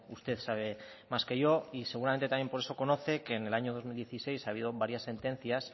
usted sabe más que yo y seguramente también por eso conoce que en el año dos mil dieciséis ha habido varias sentencias